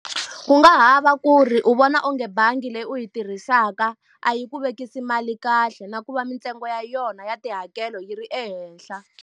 Ku nga ha va ku ri u vona onge bangi leyi u yi tirhisaka a yi ku vekisi mali kahle na ku va mintsengo ya yona ya tihakelo yi ri ehenhla.